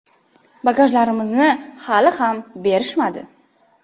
Bagajlarimizni hali ham berishmadi.